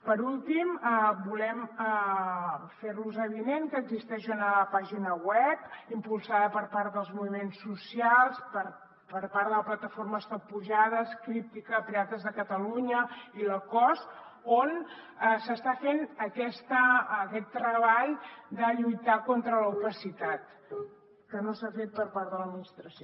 per últim volem fer los avinent que existeix una pàgina web impulsada per part dels moviments socials per part de la plataforma stop pujades críptica pirates de catalunya i la cos on s’està fent aquest treball de lluitar contra l’opacitat que no s’ha fet per part de l’administració